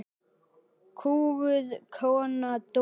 Kúguð kona, dóttir.